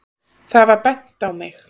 Það var bent á mig.